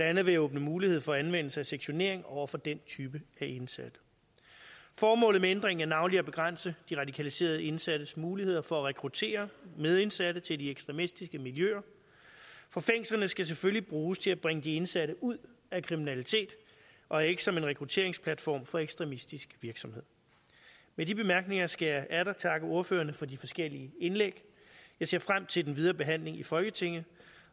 andet ved at åbne mulighed for anvendelse af sektionering over for den type af indsatte formålet med ændringen er navnlig at begrænse de radikaliserede indsattes muligheder for at rekruttere medindsatte til de ekstremistiske miljøer for fængslerne skal selvfølgelig bruges til at bringe de indsatte ud af kriminalitet og ikke som en rekrutteringsplatform for ekstremistisk virksomhed med de bemærkninger skal jeg atter takke ordførerne for de forskellige indlæg jeg ser frem til den videre behandling i folketinget